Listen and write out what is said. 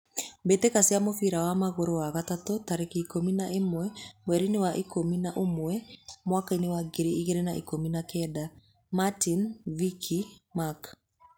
Mbitika cia mũbira wa magũrũ, wa gatatu, tarĩki ikũmi na ĩmwe mwerinĩ wa ikũmi na ũmwe mwakainĩ wa ngiri igĩrĩ na ikũmi na kenda: Martin, Vicky, Mark